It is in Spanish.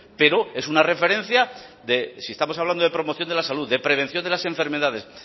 pero es una referencia de si estamos hablando de promoción de la salud de prevención de las enfermedades